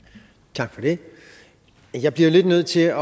tak for det jeg bliver lidt nødt til at